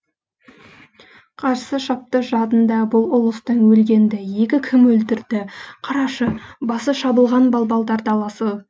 қарсы шапты жадында бұл ұлыстың өлгенді екі кім өлтірді қарашы басы шабылған балбалдар даласы